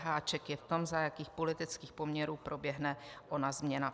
Háček je v tom, za jakých politických poměrů proběhne ona změna.